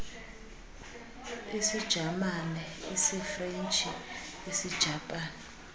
isijamane isifrentshi isijapani